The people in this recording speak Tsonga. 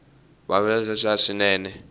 bolo ya tstutsuma swinene